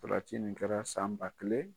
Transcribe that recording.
Farati nin kɛra san ba kelen